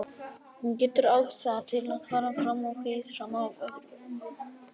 Hún getur átt það til að fara fram á hið sama af öðrum.